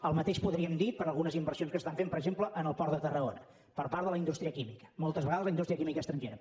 el mateix podríem dir per algunes inversions que s’estan fent per exemple en el port de tarragona per part de la indústria química moltes vegades la indústria química estrangera